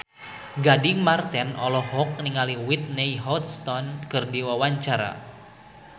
Gading Marten olohok ningali Whitney Houston keur diwawancara